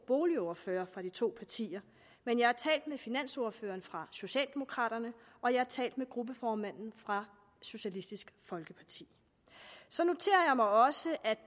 boligordførerne fra de to partier men jeg har talt med finansordføreren fra socialdemokraterne og jeg har talt med gruppeformanden fra socialistisk folkeparti så noterer jeg mig også at